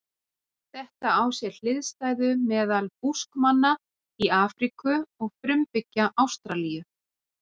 Þetta á sér hliðstæðu meðal Búskmanna í Afríku og frumbyggja Ástralíu.